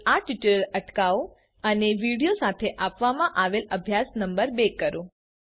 હવે આ ટ્યુટોરીયલ અટકાવો અને વિડિઓ સાથે આપવામાં આવેલ અભ્યાસ નમ્બર ૨ કરો